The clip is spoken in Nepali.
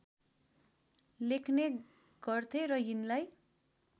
लेख्ने गर्थे र यिनलाई